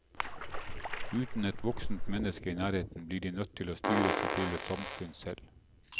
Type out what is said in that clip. Uten et voksent menneske i nærheten blir de nødt til å styre sitt lille samfunn selv.